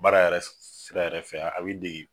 Baara yɛrɛ sira yɛrɛ fɛ a b'i dege